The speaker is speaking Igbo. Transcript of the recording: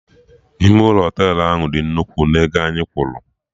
Ime ụlọ Họtelụ ahụ dị nnukwu na ego anyị kwụrụ